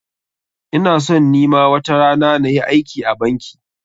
Ina son ni ma watarana na yi aiki a banki.